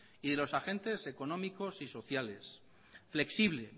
y de los agentes económicos y sociales flexible